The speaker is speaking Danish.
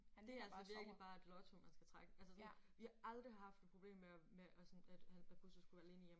Det altså virkelig bare et lotto man skal trække. Altså sådan vi har aldrig haft et problem med og med at sådan med at Buster skulle være alene hjemme